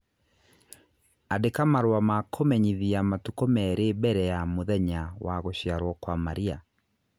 Andĩka marũa ma kũmenyithia matukũ merĩ mbere ya mũthenya wa gũciarũo kwa Maria.